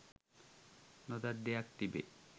නොදත් දෙයක් තිබේ